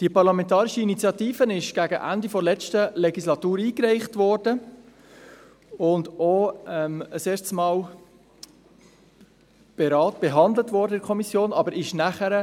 Diese Parlamentarische Initiative wurde gegen Ende der letzten Legislatur eingereicht und auch erstmals von der Kommission behandelt.